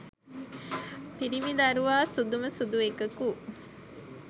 පිරිමි දරුවා සුදුම සුදු එකකු